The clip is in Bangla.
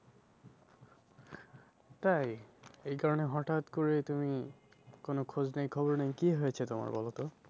তাই? এই কারণে হঠাৎ করে তুমি কোনো খোঁজ নেই খবর নেই কি হয়েছে তোমার বলো তো?